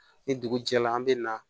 Ni dugu jɛra an bɛ na